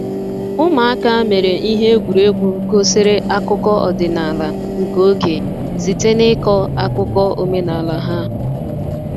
Ụmụaka mere ihe egwuregwu gosiri akụkọ ọdịnala nke oge site n’ịkọ akụkọ omenala ha.